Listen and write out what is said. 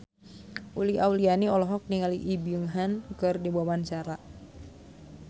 Uli Auliani olohok ningali Lee Byung Hun keur diwawancara